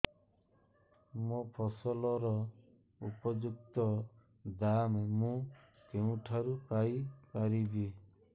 ମୋ ଫସଲର ଉପଯୁକ୍ତ ଦାମ୍ ମୁଁ କେଉଁଠାରୁ ପାଇ ପାରିବି